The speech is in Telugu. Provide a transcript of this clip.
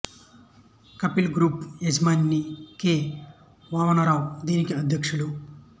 కపిల్ గ్రూప్ యజమాని కె వామన రావు దీనికి అధ్యక్షులు